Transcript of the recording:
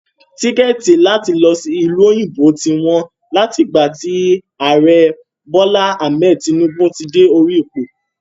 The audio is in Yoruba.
Tíkẹ́ẹ̀tì láti lọ sí ìlú òyìnbó ti wá wọ́n láti ìgbà tí Ààrẹ Bola Ahmed Tinubu ti dé orí ipò.